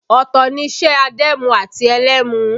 Ọ̀tọ̀ ni iṣẹ́ adẹ́mu àti ẹlẹ́mu